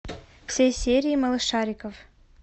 все серии малышариков